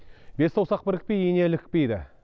бес саусақ бірікпей ине ілікпейді